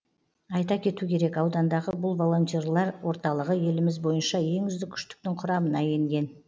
айта кету керек аудандағы бұл волонтерлар орталығы еліміз бойынша ең үздік үштіктің құрамына енген